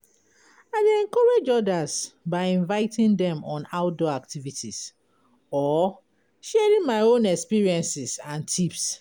i dey encourage odas by inviting dem on outdoor activities or sharing my own experiences and tips.